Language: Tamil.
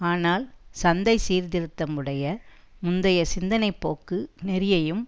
ஆனால் சந்தை சீர்திருத்தம் உடைய முந்தைய சிந்தனைப்போக்கு நெறியையும்